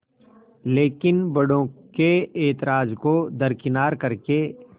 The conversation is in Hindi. लेकिन बड़ों के ऐतराज़ को दरकिनार कर के